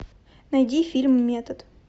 найди фильм метод